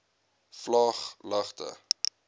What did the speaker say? vlaaglagte